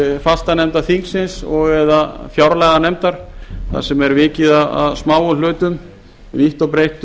fastanefnda þingsins og eða fjárlaganefndar þar sem er vikið að smáum hlutum vítt og breitt